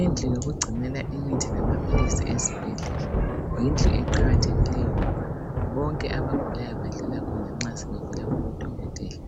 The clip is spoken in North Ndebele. indlu yokugcinela imithi lamaphilisi esibhedlela yindlu eqakathekileyo ngoba bonke abagulayo badlula khona nxa sebevela kubo dokotela